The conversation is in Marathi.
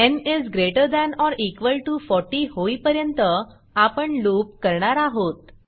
n is greater than or equal to 40 होईपर्यंत आपण लूप करणार आहोत